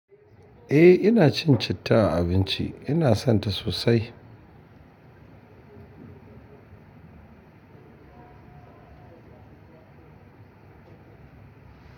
Eh ina cin citta a abinci, ina son ta sosai.